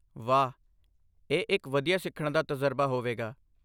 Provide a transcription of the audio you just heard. ਵਾਹ! ਇਹ ਇੱਕ ਵਧੀਆ ਸਿੱਖਣ ਦਾ ਤਜਰਬਾ ਹੋਵੇਗਾ।